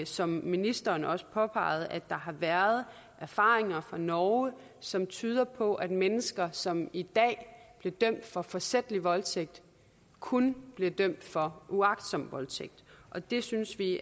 som ministeren også påpegede at der har været erfaringer fra norge som tyder på at mennesker som i dag bliver dømt for forsætlig voldtægt kun bliver dømt for uagtsom voldtægt og det synes vi